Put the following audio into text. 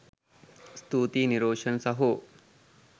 ස්තුතියි නිරෝෂන් සහෝ